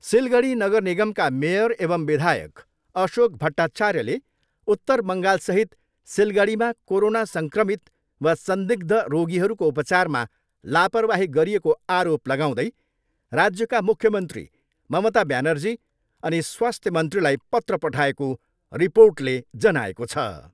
सिलगढी नगर निगमका मेयर एवम् विधायक अशोक भट्टार्चायले उत्तर बङ्गालसहित सिलगढीमा कोरोना सङ्क्रमित वा संदिग्ध रोगीहरूको उपचारमा लापरबाही गरिएको आरोप लगाउँदै राज्यका मुख्यमन्त्री ममता ब्यानर्जी अनि स्वास्थ्य मन्त्रीलाई पत्र पठाएको रिर्पोटले जनाएको छ।